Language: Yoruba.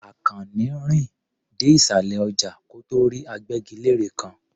Àkànní rìn dé ìsàlẹ̀ ọjà kó tó rí agbẹ́gilére kan.